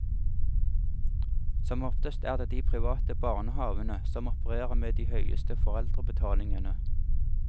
Som oftest er det de private barnehavene som opererer med de høyeste foreldrebetalingene.